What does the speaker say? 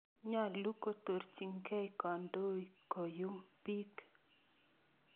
Nyalu kotoorchikey kandoi koyum piik